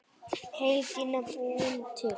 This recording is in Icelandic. Heydýna búin til.